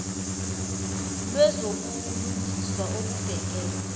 lwezobu lungiswa obubhekene